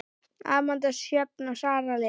Amanda Sjöfn og Sara Lind.